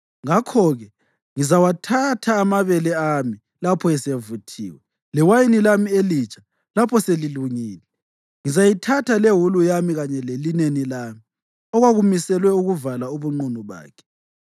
Ngakho-ke ngizawathatha amabele ami lapho esevuthiwe, lewayini lami elitsha lapho selilungile. Ngizayithatha lewulu yami kanye lelineni lami, okwakumiselwe ukuvala ubunqunu bakhe.